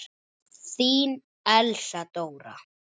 Þín Elsa Dóra.